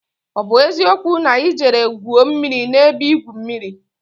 O bu eziokwu na I jere gwuo mmiri n'ebe igwu mmiri?